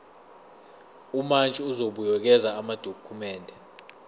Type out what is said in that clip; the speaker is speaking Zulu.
umantshi uzobuyekeza amadokhumende